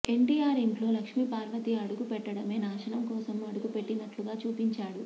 ఎన్టీఆర్ ఇంట్లో లక్ష్మీపార్వతి అడుగు పెట్టడమే నాశనం కోసం అడుగుపెట్టినట్లుగా చూపించాడు